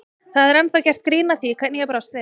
Það er ennþá gert grín að því hvernig ég brást við.